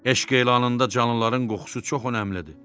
Eşq elanında canlıların qoxusu çox önəmlidir.